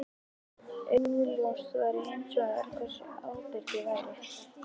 Augljóst væri hins vegar hversu ábyrg ég væri.